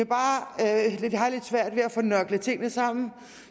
bare lidt svært ved at få nørklet tingene sammen